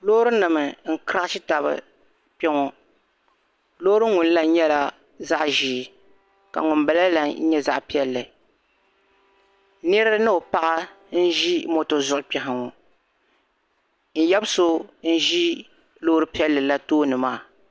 Loori nim n krashi taba kpe ŋɔ loori ŋun la nyɛla zaɣ'zeei ka ŋun bala la nyɛ zaɣ'piɛlli niri ni o paɣa n zi moto zuɣu kpɛha ŋɔ n yabi so n zi loori piɛlli la tooni maa